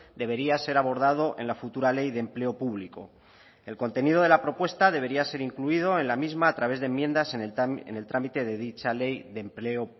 debería ser abordado en la futura ley de empleo público el contenido de la propuesta debería ser incluido en la misma a través de enmiendas en el trámite de dicha ley de empleo